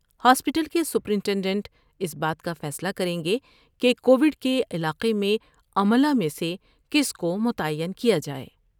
Hospital کے superintendent اس بات کا فیصلہ کر یں گے کہ کووڈ کے علاقہ میں عملہ میں سے کس کو متعین کیا جاۓ گا ۔